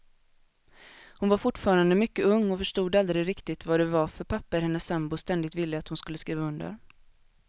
Hon var fortfarande mycket ung och förstod aldrig riktigt vad det var för papper hennes sambo ständigt ville att hon skulle skriva under.